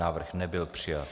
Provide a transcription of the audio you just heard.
Návrh nebyl přijat.